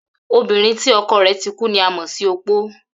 Obìnrin tí o̩ko̩ rè̩ ti kú ni a mò̩ sí opó